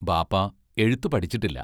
ബാപ്പാ എഴുത്തു പഠിച്ചിട്ടില്ല.